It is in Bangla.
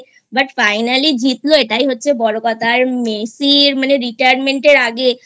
But Finally জিতল এটাই হচ্ছে বড় কথা । Messi র মানে Retirement এর আগে